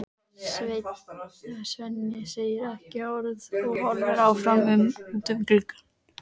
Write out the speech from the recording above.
Svenni segir ekki orð og horfir áfram út um gluggann.